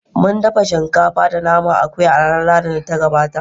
Mun dafa shinkafa da naman akuya a ranar Lahadin da ta gabata.